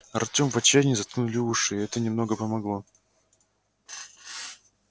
артём в отчаянии заткнули уши это немного помогло